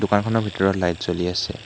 দোকানখনৰ ভিতৰত লাইট জ্বলি আছে।